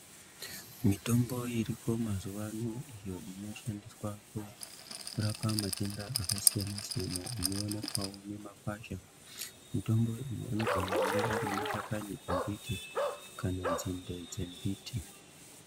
Mitombo iriko mazuwa ano iyo inoshandiswa kurapa matenda akasiyana siyana inoonekwawo ngemakwazha, mutombo iyi anogone kunge ari mashakani embiti kana nzinde dzembiti.